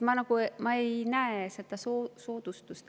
Ma nagu ei näe seda soodustust.